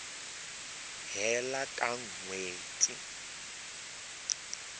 hela ka n hweti ya